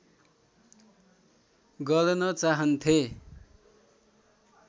गर्न चाहन्थे